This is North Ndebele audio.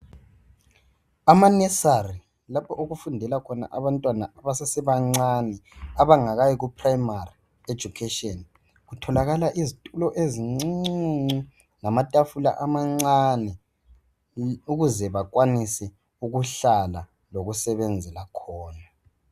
Amanesali lapho okufundela khona abantwana abasese bancane abangayi ku"primary education " kutholakala izthulo ezicucu lamamathafula amancane ukuze bakwanise ukuhlala lokusebenzela khona